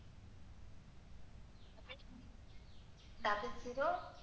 Double zero,